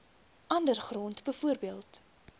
ander grond bv